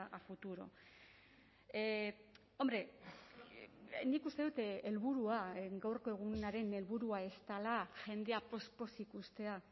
a futuro hombre nik uste dut helburua gaurko egunaren helburua ez dela jendea poz pozik uztea